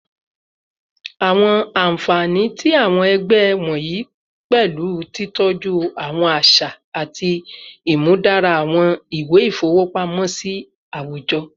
Awọn anfani ti awọn ẹgbẹ wọnyi pẹlu titọju awọn aṣa aṣa ati imudara awọn iwe ifowopamosi awujọ